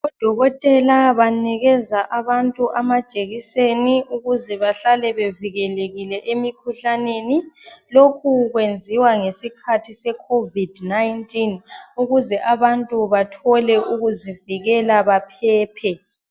Odokotela banikeza abantu amajekiseni ukuze bahlale bevikelekile emikhuhlaneni. Lokhu kwenziwa ngesikhathi seCovid-19 ukuze abantu bathole ukuzivikela baphephe.